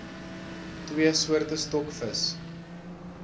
twee soorte stokvis